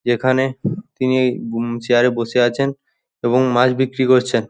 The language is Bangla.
যেখানে তিনি হমম চেয়ার এ বসে আছেন এবং মাছ বিক্রি করছেন।